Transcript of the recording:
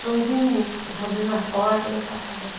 Joãozinho, eu estou abrindo a porta da sua casa.